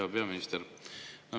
Hea peaminister!